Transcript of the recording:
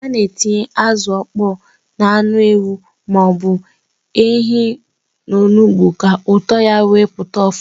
A na-etinye azụ ọkpọ na anụ ewu ma ọ bụ ehi n'onugbu ka ụtọ ya wee pụta ọfụma.